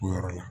O yɔrɔ la